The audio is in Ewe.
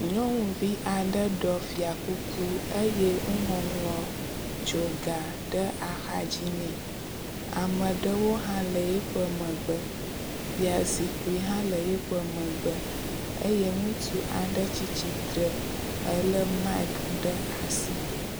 Nyɔnuvi aɖe ɖɔ fiakuku eye nuŋɔŋlɔ tsoga ɖe axa dzi nɛ. Ame aɖewo hã le yiƒe megbe. Fiazikpui hã le yiƒe megbe eye ŋutsu aɖe tsi tsitre ele miaki ɖe asi.